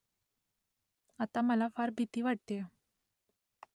आता मला फार भीती वाटतेय